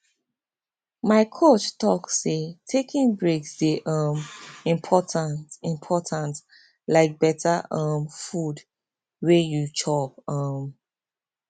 my coach talk say taking breaks dey um important important like better um food wey you chop um